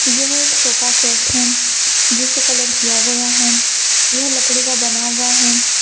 यह एक sofa set है जिसे कलर किया गया है यह लकड़ी का बना हुआ है।